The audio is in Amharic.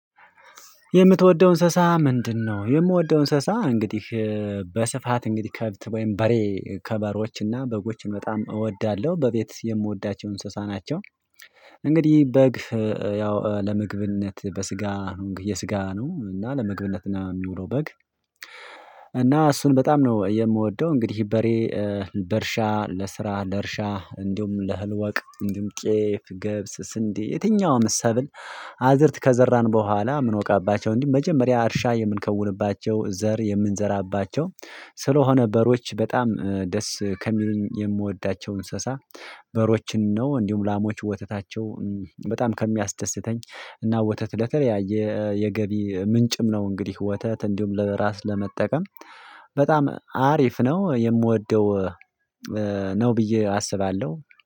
የምትወደው እንስሳ ምንድነው? የምወደው እንስሳ እንግዲህ በስፋት እንግዲህ ከብት ወይም በሬ ከበሬዎች እና በጎችን በጣም እወዳለሁ በቤት የምወዳቸው እንስሳ ናቸው። እንግዲህ በግ ያው ለምግብነት በስጋ የስጋ ነው እና ለምግብነት የሚውለው በግ እሱን በጣም ነው የምወደው። እንግዲህ በሬ በእርሻ ለስራ ለእርሻ እንዲሁም ለእህል ወቅ እንዲሁም ጤፍ ገብስ ስንዴ የትኛውም ሰብል አዝርት ከዘራን በኋላ ምንወቃባቸው እንዲሁም መጀመሪያ እርሻ የምንከውንባቸው ዘር የምንዘራባቸው ስለሆነ በሬዎች በጣም ደስ ከሚሉኝ የምወዳቸው እንስሳ። በሬዎችን ነው እንዲሁም ላሞች ወተታቸው በጣም ከሚያስደስተኝ እና ወተት ለተለያየ የገቢ ምንጭም ነው። እንግዲህ ወተት እንዲሁም ለራስ ለመጠቀም በጣም አሪፍ ነው የምወደው ነው። ብዬ አስባለሁ